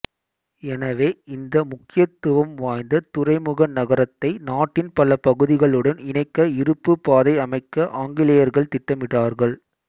எனவே இந்த முக்கியத்துவம் வாய்ந்த துறைமுக நகரத்தை நாட்டின் பல பகுதிகளுடன் இணைக்க இருப்பு பாதை அமைக்க ஆங்கிலேயர்கள் திட்டமிட்டார்கள்